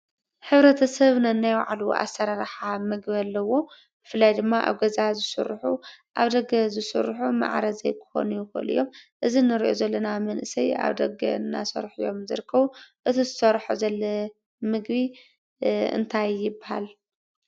ሕብረተሰብ ነናይ ባዕሉ ኣሰራርሓ ምግቢ ኣሎዎ። ብፍላይ ኣብ ገዛ ዝስርሑ ኣብ ደገ ዝስርሑ ማዕረ ዘይክኮኑ ይክእሉ እዮም። እዚ እንሪኦ ዘለና መንእሰይ ኣብ ደገ እንዳሰርሑ እዮም ዝርከቡ። እዚ ዝሰርሖ ዘሎ ምግቢ እንታይ ይበሃል?